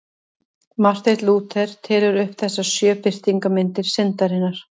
Marteinn Lúther telur upp þessar sjö birtingarmyndir syndarinnar.